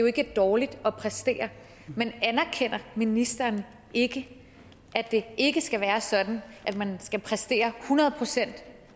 ikke er dårligt at præstere men anerkender ministeren ikke at det ikke skal være sådan at man skal præstere hundrede procent